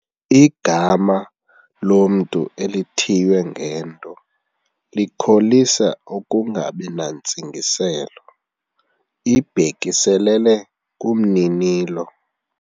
Igama lomntu elithiywe ngento likholisa ukungabi nantsingiselo ibhekiselele kumninilo.